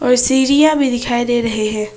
और सीढ़ियां भी दिखाई दे रहे हैं।